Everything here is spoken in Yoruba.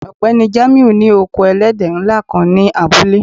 Ọgbẹni Jamiu ni oko èlẹ̀dẹ́ nlá kan ni abúlé